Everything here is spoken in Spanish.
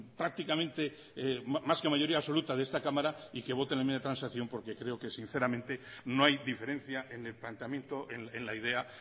prácticamente más que mayoría absoluta de esta cámara y que voten la enmienda de transacción porque creo que sinceramente no hay diferencia en el planteamiento en la idea